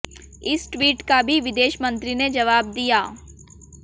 इस ट्वीट का भी विदेश मंत्री ने जवाब दिया